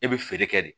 E bɛ feere kɛ de